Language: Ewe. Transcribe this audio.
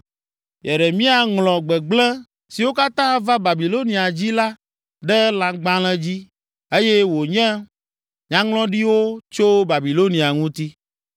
Yeremia ŋlɔ gbegblẽ siwo katã ava Babilonia dzi la ɖe lãgbalẽ dzi eye wonye nyaŋlɔɖiwo tso Babilonia ŋuti.